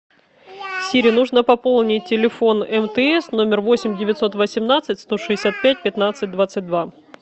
сири нужно пополнить телефон мтс номер восемь девятьсот восемнадцать сто шестьдесят пять пятнадцать двадцать два